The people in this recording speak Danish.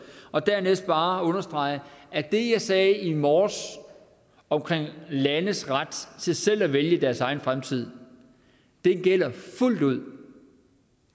og dernæst bare understrege at det jeg sagde i morges om landes ret til selv at vælge deres egen fremtid gælder fuldt ud